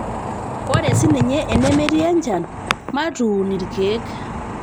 ore sininye enemetii nchan matuuumn ilkeek